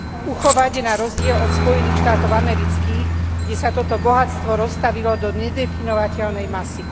Uchovať na rozdiel od Spojených štátov amerických, kde sa toto bohatstvo roztavilo do nedefinovateľnej masy.